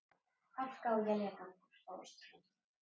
Hálka og éljagangur á Austurlandi